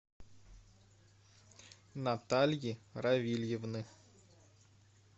натальи равильевны